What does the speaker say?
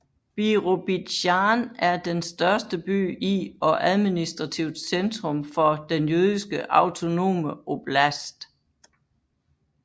Birobidzjan er den største by i og administrativt centrum for den Jødiske autonome oblast